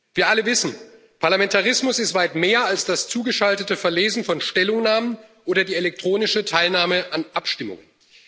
Wir alle wissen Parlamentarismus ist weit mehr als das zugeschaltete Verlesen von Stellungnahmen oder die elektronische Teilnahme an Abstimmungen.